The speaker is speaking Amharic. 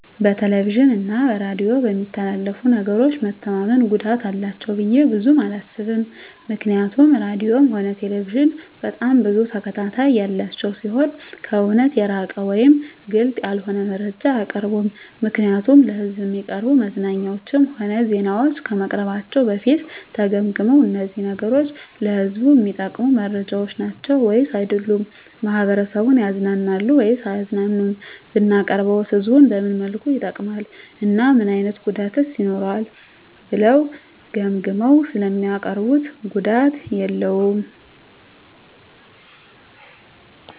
በቴሌቪዥን እና በሬዲዮ በሚተላለፉ ነገሮች መተማመን ጉዳት አላቸው ብዬ ብዙም አላስብም ምክንያቱም ራድዮም ሆነ ቴሌቪዥን በጣም ብዙ ተከታታይ ያላቸው ሲሆኑ ከእውነት የራቀ ወይም ግልፅ ያልሆነ መረጃ አያቀርቡም ምክንያቱም ለሕዝብ እሚቀርቡ መዝናኛዎችም ሆነ ዜናዎች ከመቅረባቸው በፊት ተገምግመው እነዚህ ነገሮች ለህዝቡ እሚጠቅሙ መረጃዎች ናቸው ወይስ አይደሉም፣ ማህበረሰቡን ያዝናናሉ ወይስ አያዝናኑም፣ ብናቀርበውስ ህዝቡን በምን መልኩ ይጠቅማል እና ምን አይነት ጉዳትስ ይኖረዋል ብለው ገምግመው ስለሚያቀርቡት ጉዳት የለውም።